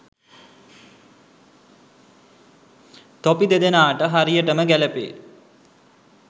තොපි දෙදෙනාට හරියටම ගැලපේ.